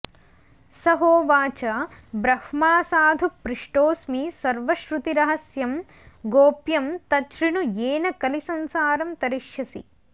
स होवाच ब्रह्मा साधु पृष्टोऽस्मि सर्वश्रुतिरहस्यं गोप्यं तच्छृणु येन कलिसंसारं तरिष्यसि